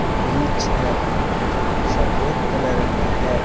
Bridge है जो सफेद कलर में है।